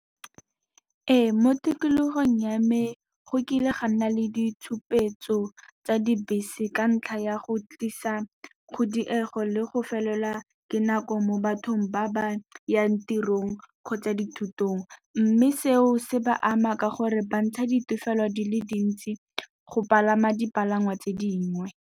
Ee, mo tikologong ya me go kile ga nna le ditshupetso tsa dibese, ka ntlha ya go tlisa kgodiego le go felelwa ke na mo bathong ba ba yang tirong kgotsa dithutong. Mme seo se ba ama ka gore bantsha ditefelo dile dintsi go palama dipalangwa tse dingwe.